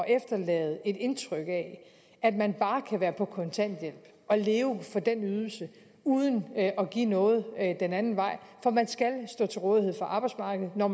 efterlade et indtryk af at man bare kan være på kontanthjælp og leve for den ydelse uden at give noget den anden vej for man skal stå til rådighed for arbejdsmarkedet når